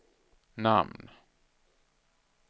namn